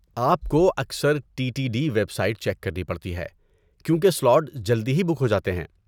آپ کو اکثر T T D website check کرنی پڑتی ہے، کیونکہ سلاٹ جلد ہی بک ہو جاتے ہیں۔